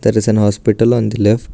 There is an hospital on the left.